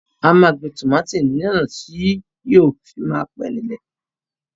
A máa gbin tòmátò ní ọ̀nà tí yóò fi máa pé nílẹ̀